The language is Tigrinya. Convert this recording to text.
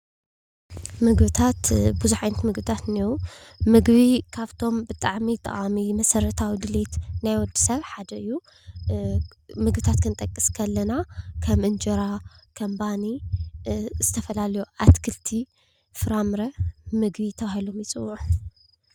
ምግብታት ቡዙሕ ዓይነት ምግብታት እኒአው፡፡ ምግቢ ካብቶም ብጣዕሚ ጠቃሚ መሰረታዊ ድሌት ናይ ወዲ ሰብ ሓደ እዩ፡፡ ምግብታት ክንጠቅስ ኸለና ከም እንጀራ፡ ከም ባኒ፣ ዝተፈላለዩ አትክልቲ፣ ፍራምረ ምግቢ ተባሂሎም ይፅውዑ፡፡